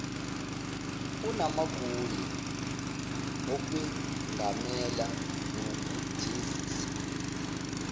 unamagunya okwengamela nokujezisa